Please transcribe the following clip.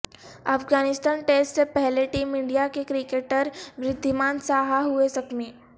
Afghanistan test سے پہلے team India کے کرکٹر وریدھیمان ساہا ہوئےزخمی